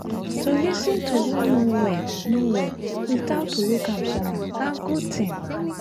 to lis ten to who no well no well without to look am somehow na good thing.